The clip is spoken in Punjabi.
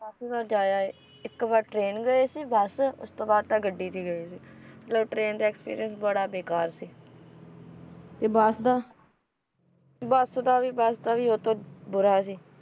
ਕਾਫੀ ਵਾਰ ਜਾ ਆਏ ਇੱਕ ਵਾਰ train ਗਏ ਸੀ ਬਸ ਉਸਤੋਂ ਬਾਅਦ ਤਾਂ ਗੱਡੀ ਤੇ ਗਏ ਸੀ train ਤੇ accent ਬੜਾ ਬੇਕਾਰ ਸੀ ਤੇ ਬੱਸ ਦਾ ਬੱਸ ਦਾ ਵੀ ਬੱਸ ਦਾ ਵੀ ਉਹਤੋਂ ਬੁਰਾ ਸੀ,